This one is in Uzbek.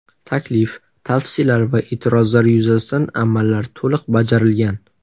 Taklif, tavsiyalar va e’tirozlar yuzasidan amallar to‘liq bajarilgan.